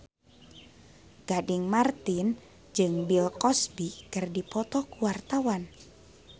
Gading Marten jeung Bill Cosby keur dipoto ku wartawan